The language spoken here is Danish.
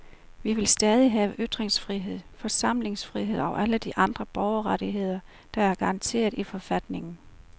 Vi vil stadig have ytringsfrihed, forsamlingsfrihed og alle de andre borgerrettigheder, der er garanteret i forfatningen.